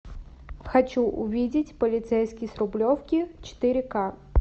хочу увидеть полицейский с рублевки четыре ка